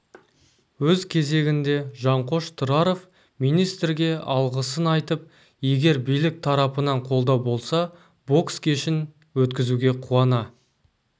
өз кезегінде жанқош тұраров министрге алғысын айтып егер билік тарапынан қолдау болса бокс кешін өткізуге қуана